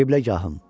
Qibləgahım.